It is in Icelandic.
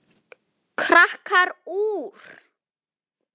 Krakkar úr